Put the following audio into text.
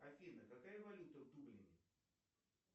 афина какая валюта в дублине